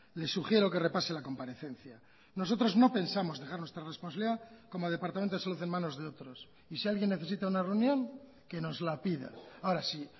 le sugiero que repase la comparecencia nosotros no pensamos dejar nuestra responsabilidad como departamento de salud en manos de otros y si alguien necesita una reunión que nos la pida ahora si